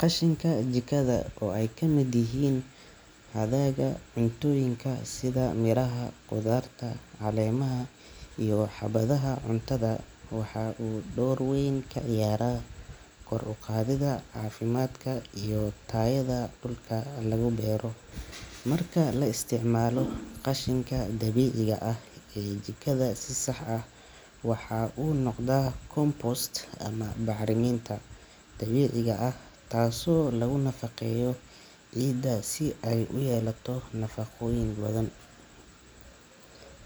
Qashinka jikada oo ay ka mid yihiin hadhaaga cuntooyinka sida miraha, khudaarta, caleemaha iyo xabadaha cuntada, waxa uu door weyn ka ciyaaraa kor u qaadidda caafimaadka iyo tayada dhulka lagu beero. Marka la isticmaalo qashinka dabiiciga ah ee jikada si sax ah, waxa uu noqdaa compost ama bacriminta dabiiciga ah, taasoo lagu nafaqeeyo ciidda si ay u yeelato nafaqooyin badan.